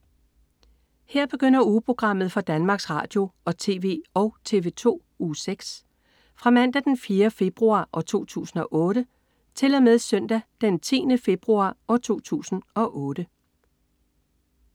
Her begynder ugeprogrammet for Danmarks Radio- og TV og TV2 Uge 6 Fra Mandag den 4. februar 2008 Til Søndag den 10. februar 2008